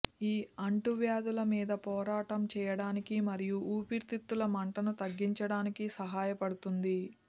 ఇది అంటువ్యాధుల మీద పోరాటం చేయటానికి మరియు ఊపిరితిత్తుల మంటను తగ్గించటానికి సహాయపడుతుంది